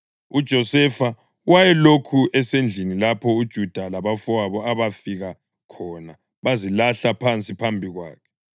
UJosefa wayelokhu esendlini lapho uJuda labafowabo abafika khona bazilahla phansi phambi kwakhe.